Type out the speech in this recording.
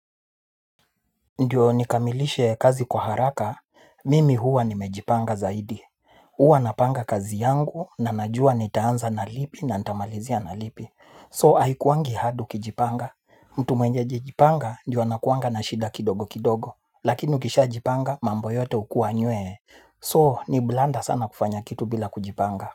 Ndiyo nikamilishe kazi kwa haraka mimi huwa nimejipanga zaidi. Huwa napanga kazi yangu na najua nitaanza na lipi na ntamalizia na lipi so haikuwangi hard ukijipanga. Mtu mwenye hajajipanga ndiyo anakuwanga na shida kidogo kidogo lakini ukishajipanga mambo yote hukua nywee so ni blanda sana kufanya kitu bila kujipanga.